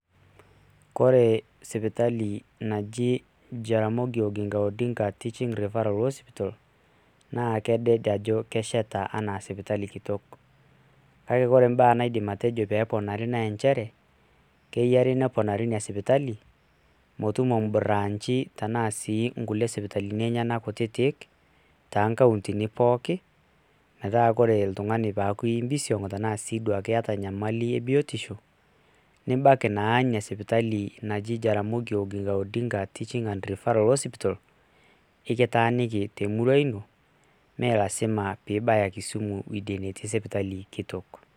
kore sipitali naji jaramogi odinga teaching referral hospital naa kedet ajo kesheta anaa sipitali kitok, kake ore ibaa naidim atejo metoponari naa nchere, keyiari neponari ina sipitali, metumo i brachi tenaa sii isipitalini enyenak kutitik too nkauntini, pooki metaaku ore oltungani teneyaku impisiong',tenaa keeta enyamali ebiotisho ,nibaiki naa ina sipitali naji jaramogi oginga odinga teaching referral hospita ekitaaniki temurua ino, ime lasima pee ibaya kisumu weidie netii sipitali kitok.